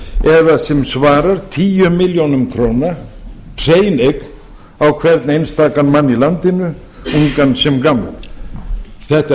eða sem svarar tíu milljónir króna hrein eign á hvern einstakan mann í landinu ungan sem gamlan þetta er